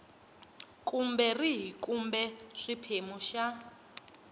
kumbe rihi kumbe xiphemu xa